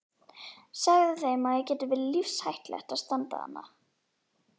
Segðu þeim að það geti verið lífshættulegt að standa þarna.